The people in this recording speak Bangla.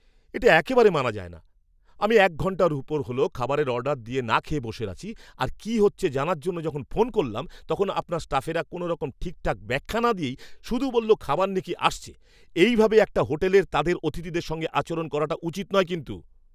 এটা একেবারে মানা যায় না। আমি এক ঘন্টার ওপর হল খাবারের অর্ডার দিয়ে না খেয়ে বসে আছি! আর কী হচ্ছে জানার জন্য যখন ফোন করলাম তখন আপনার স্টাফেরা কোনোরকম ঠিকঠাক ব্যাখ্যা না দিয়েই শুধু বলল খাবার নাকি আসছে! এইভাবে একটা হোটেলের তাদের অতিথিদের সঙ্গে আচরণ করাটা উচিত নয় কিন্তু।